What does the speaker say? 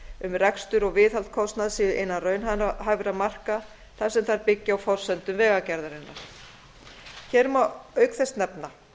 um rekstur og viðhaldskostnað séu innan raunhæfra marka þar sem þær byggja á forsendum vegagerðarinnar hér má auk þess nefna